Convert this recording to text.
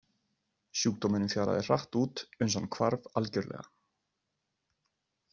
Sjúkdómurinn fjaraði hratt út uns hann hvarf algjörlega.